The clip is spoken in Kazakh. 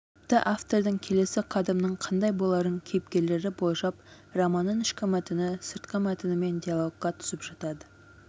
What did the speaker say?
тіпті автордың келесі қадамының қандай боларын кейіпкерлері болжап романның ішкі мәтіні сыртқы мәтінмен диалогқа түсіп жатады